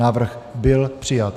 Návrh byl přijat.